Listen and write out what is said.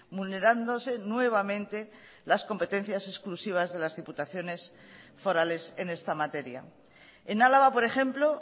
vulnerándose nuevamente las competencias exclusivas de las diputaciones forales en esta materia en álava por ejemplo